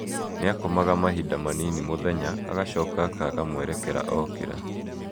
Nĩ akomaga mahinda manini mũthenya, agacoka akaaga mwerekera ookĩra.